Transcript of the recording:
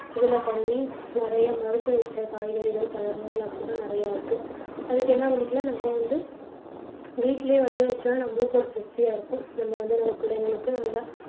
இதுல பண்ணி நிறைய மருந்து வச்ச காய்கறிகள் பழங்கள் அப்படி தான் நிறைய இருக்கு. அதுக்கு என்ன பண்ணிக்கலாம் நம்ப வந்து வீட்டிலேயே விளைய வச்சுட்டா நம்மளுக்கு ஒரு திருப்தியா இருக்கும். நம்ம வந்து நம்ம பிள்ளைகளுக்கு நல்லா